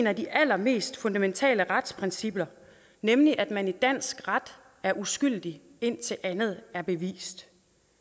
af de allermest fundamentale retsprincipper nemlig at man i dansk ret er uskyldig indtil andet er bevist